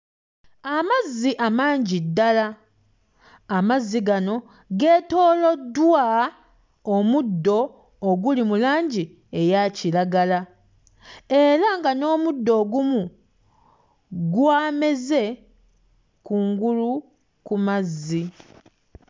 Amazzi amangi ddala, amazzi gano geetooloddwa omuddo oguli mu langi eya kiragala era nga n'omuddo ogumu gwameze kungulu ku mazzi.